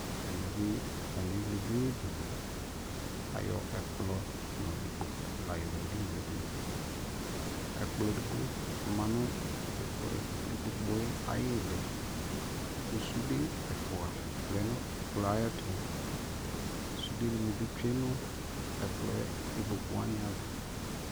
ɛmɛ bi atani ɛwlɛ ɛdini dʋ, ayɔ ɛkplɔ nʋ ikpɔkʋ layɔ wlɛ ɛdiniɛ dʋ, ɛkplɔ ɛdigbɔ manʋ ikpɔkʋɛ ayili kʋ sʋdɛ ɛƒʋa lunʋ ɛkplɔɛ ayɛtʋ, sʋdɛ nibi twɛnʋ ikpɔkʋ waniaɣa